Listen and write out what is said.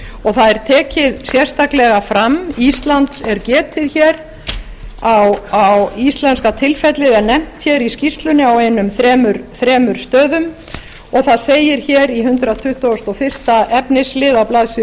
og það er tekið sérstaklega fram íslands er getið íslenska tilfellið er nefnt í skýrslunni á einum þremur stöðum og það segir í hundrað tuttugasta og fyrstu efnislið á blaðsíðu